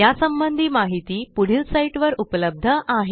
यासंबंधी माहिती पुढील साईटवर उपलब्ध आहे